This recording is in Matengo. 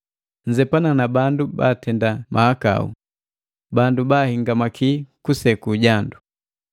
Nzepana na bandu batenda mahakau, yaka nakabwa heyi, bandu bahahingamaki kuseku jandu.